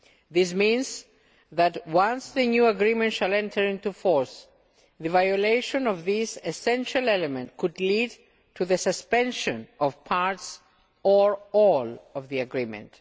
This means that, once the new agreement enters into force, the violation of this essential element could lead to the suspension of parts or all of the agreement.